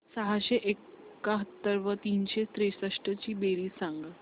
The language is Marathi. सहाशे एकाहत्तर व तीनशे त्रेसष्ट ची बेरीज सांगा